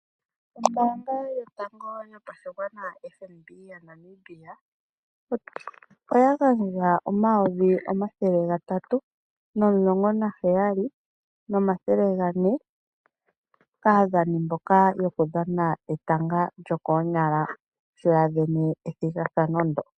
Ombaanga yo tango yopa shigwana FNB moNamibia oya gandja N$ 317400.00 kaadhani mboka yoku dhana etanga lyo koonyala sho ya vene ethigathano lyo.